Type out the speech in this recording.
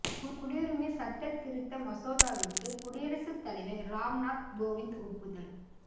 குடியுரிமை சட்டத் திருத்த மசோதாவிற்கு குடியரசுத் தலைவர் ராம்நாத் கோவிந் ஒப்புதல்